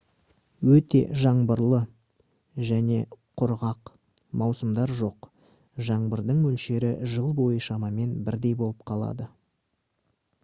өте «жаңбырлы» және «құрғақ» маусымдар жоқ: жаңбырдың мөлшері жыл бойы шамамен бірдей болып қалады